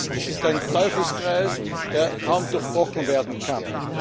Es ist ein Teufelskreis, der kaum durchbrochen werden kann.